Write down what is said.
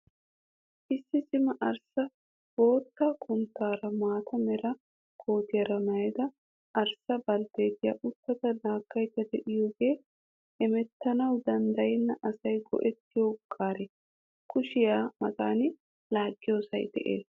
Issi cima arssa bootta kutaara maata mera kootiyaara mayyida arssa baltteetiyaauttada laaggayidda diyoogee hemettanawu danddayenna asayi go''ettiyoo gaare. Kushiyaa matan laaggiyosayi de'ees.